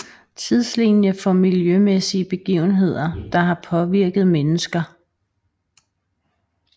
Tidslinie for miljømæssige begivenheder der har påvirket mennesker